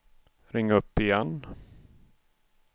ring upp igen